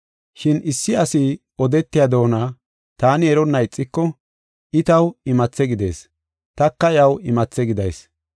Shin issi asi odetiya doona taani eronna ixiko I taw imathe gidees; taka iyaw imathe gidayis.